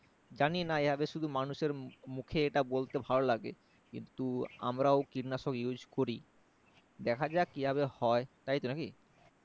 জানিনা এভাবে শুধু মানুষের মুখে এটা বলতে ভালো লাগে কিন্তু আমরাও কীটনাশক Used করি দেখা যাক কিভাবে হয় তাইতো নাকি